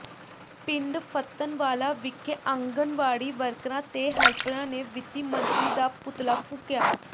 ਪਿੰਡ ਫ਼ੱਤਣਵਾਲਾ ਵਿਖੇ ਆਂਗਣਵਾੜੀ ਵਰਕਰਾਂ ਤੇ ਹੈਲਪਰਾਂ ਨੇ ਵਿੱਤੀ ਮੰਤਰੀ ਦਾ ਪੁਤਲਾ ਫੂਕਿਆ